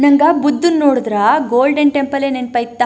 ನಂಗೆ ಬುದ್ದು ನ್ ನೋಡುದ್ರ ಗೋಲ್ಡನ್ ಟೆಂಪಲ್ಲೇ ನೆನಪಾಯಿತ.